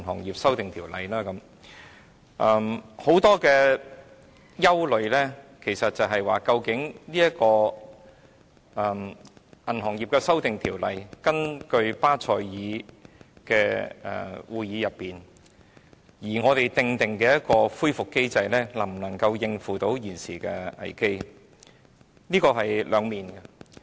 其實，大家所憂慮的主要是究竟在這項有關銀行業的《條例草案》中，我們根據巴塞爾銀行監管委員會的規定而訂立的恢復機制能否應付現時的危機。